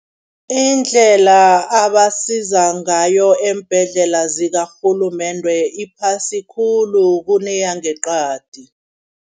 Indlela abasiza ngayo eembhedlela zakarhulumende iphasi khulu kuneyangeqadi.